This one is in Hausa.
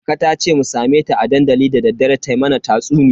Kaka tace mu same ta a dandali dadaddare ta mana tatsuniya.